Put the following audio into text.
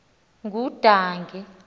ngudange